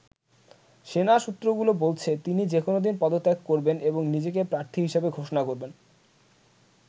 সেনা সূত্রগুলো বলছে, তিনি যেকোনো দিন পদত্যাগ করবেন এবং নিজেকে প্রার্থী হিসেবে ঘোষণা করবেন।